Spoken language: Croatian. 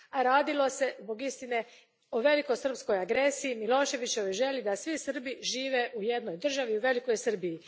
A radilo se, zbog istine, o velikosrpskoj agresiji i Miloševićevoj želji da svi Srbi žive u jednoj državi, u velikoj Srbiji.